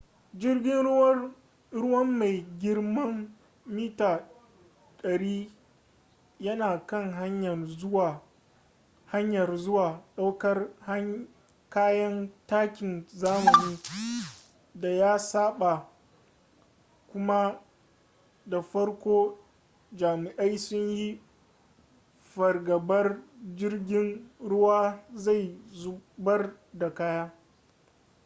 jirgin ruwan mai girman mita-100 yana kan hanyar zuwa ɗaukar kayan takin zamani da ya saba kuma da farko jami'ai sun yi fargabar jirgin ruwan zai zubar da kaya